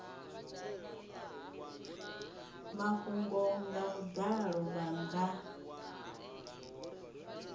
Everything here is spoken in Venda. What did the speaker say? mafhungo nga vhudalo vha nga